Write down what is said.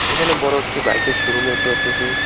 এখানে বড় একটি বাইকের শোরুম দেখতে পারতেছি।